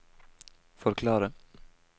forklare